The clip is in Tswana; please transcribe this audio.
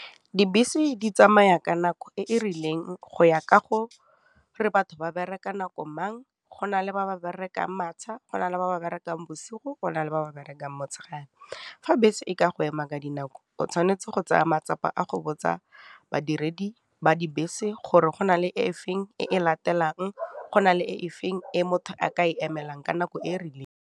Dibese di tsamaya ka nako e e rileng go ya kago re batho ba bereka nako mang, go na le ba ba berekang matsha, go na le ba ba berekang bosigo, go na le ba ba berekang motshegare. Fa bese e ka go ema ka dinao, o tshwanetse go tsaya matsapa a go botsa badiredi ba dibese gore go na le e feng e latelang, go na le e feng e motho a ka e emelang ka nako e e rileng.